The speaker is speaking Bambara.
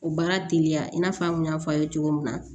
O baara teliya i n'a fɔ an kun y'a fɔ a ye cogo min na